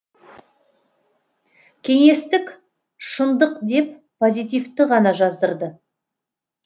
кеңестік шындық деп позитивті ғана жаздырды